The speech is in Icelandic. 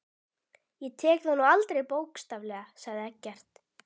Ég tók það nú aldrei bókstaflega, sagði Eggert.